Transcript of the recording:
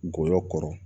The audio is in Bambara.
Ngɔyɔ kɔrɔ